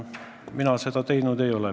Mina seda teinud ei ole.